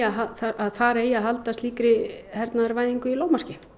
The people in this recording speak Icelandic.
að þar eigi að halda slíkri hernaðarvæðingu í lágmarki